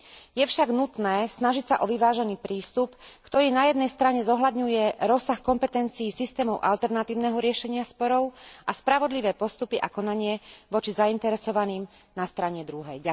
Je však nutné snažiť sa o vyvážený prístup, ktorý na jednej strane zohľadňuje rozsah kompetencií systémov alternatívneho riešenia sporov a spravodlivé postupy a konanie voči zainteresovaným na strane druhej.